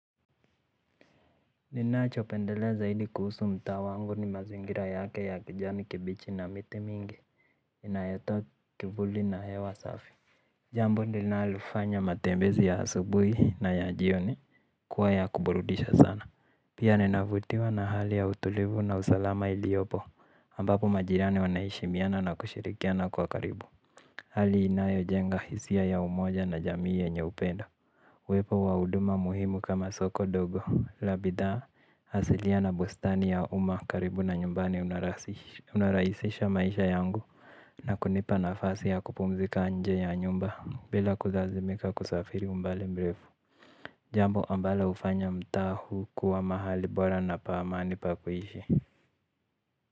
Ninacho pendelea zaidi kuhusu mtaa wangu ni mazingira yake ya kijani kibichi na miti mingi inayotoa kivuli na hewa safi. Jambo linalofanya matembezi ya asubuhi na ya jioni kuwa ya kuburudisha sana. Pia ninavutiwa na hali ya utulivu na usalama iliyopo ambapo majirani wana heshimiana na kushirikiana kwa karibu. Hali inayojenga hisia ya umoja na jamii yenye upendo uwepo wa huduma muhimu kama soko dogo, la bidhaa asilia na bustani ya umaa karibu na nyumbani unarahisisha maisha yangu na kunipa nafasi ya kupumzika nje ya nyumba bila kulazimika kusafiri umbali mrefu. Jambo ambalo hufanya mtaa huu kuwa mahali bora na pa amani pa kuishi.